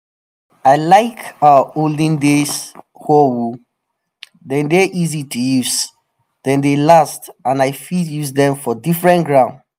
i like our olden days hoe o! dem dey easy to use dem dey last and i fit use dem for diffren ground